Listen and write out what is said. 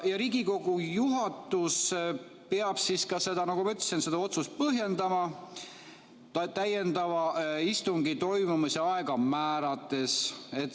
Riigikogu juhatus peab, nagu ma ütlesin, seda otsust põhjendama täiendava istungi toimumise aega määrates.